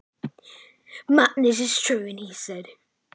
Brjálæði, það er satt sagði hann.